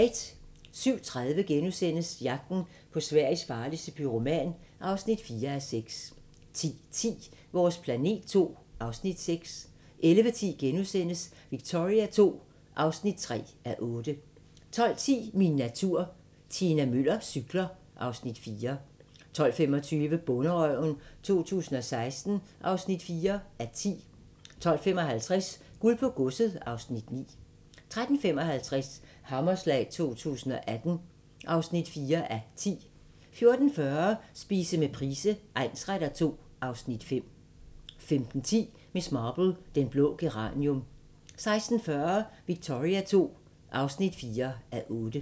07:30: Jagten på Sveriges farligste pyroman (4:6)* 10:10: Vores planet II (Afs. 6) 11:10: Victoria II (3:8)* 12:10: Min natur - Tina Müller cykler (Afs. 4) 12:25: Bonderøven 2016 (4:10) 12:55: Guld på Godset (Afs. 9) 13:55: Hammerslag 2018 (4:10) 14:40: Spise med Price egnsretter II (Afs. 5) 15:10: Miss Marple: Den blå geranium 16:40: Victoria II (4:8)